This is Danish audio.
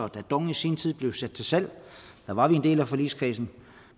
da dong i sin tid blev sat til salg var vi en del af forligskredsen